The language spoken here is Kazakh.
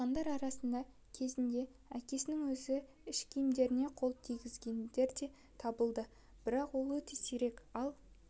қалғандар араларында кезінде әкесінің өзі ішкиімдеріне қол тигізгендер де табылады бірақ ол өте сирек ал